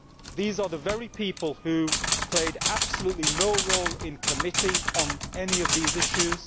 These are the very people who played absolutely no role in committee on any of these issues.